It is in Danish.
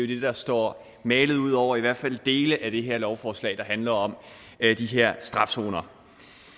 det der står malet ud over i hvert fald dele af det her lovforslag der handler om de her strafzoner